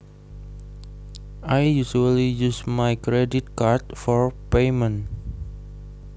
I usually use my credit card for payment